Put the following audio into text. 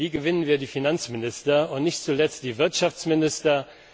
Wie gewinnen wir die Finanzminister und nicht zuletzt die Wirtschaftsminister?